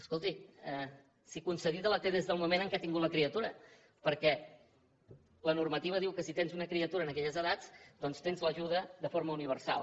escolti si concedida la té des del moment en què ha tingut la criatura perquè la normativa diu que si tens una criatura en aquelles edats doncs tens l’ajuda de forma universal